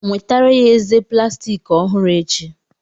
Nwetara ya eze plastiki ọhụrụ echi.